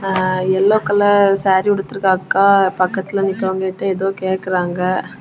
ஆ yellow colour sari உடிதிருக்க அக்கா பக்கத்தில நிக்கவங்கிட்ட ஏதோ கேக்குராங்க.